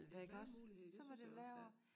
Det en mulighed det synes jeg også ja